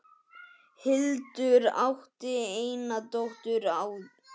Hildur átti eina dóttur áður.